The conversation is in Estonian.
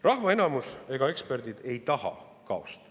Rahva enamus ega eksperdid ei taha kaost.